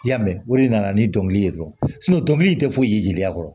I y'a mɛn o de nana ni dɔnkili ye dɔrɔn dɔnkili tɛ foyi ye jeliya kɔrɔ